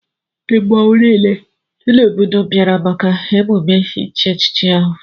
Mmọnwụ niile dị n'obodo bịara maka emume ichi echichi ahụ.